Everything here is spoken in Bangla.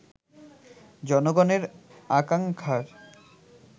জনগণের আকাঙ্ক্ষার